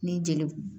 Ni jeli